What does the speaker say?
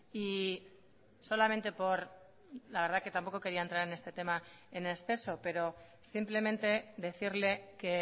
y solamente por la verdad que tampoco quería entrar en este tema en exceso pero simplemente decirle que